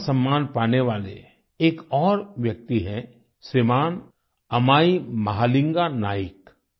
पद्म सम्मान पाने वाले एक और व्यक्ति हैं श्रीमान् अमाई महालिंगा नाइक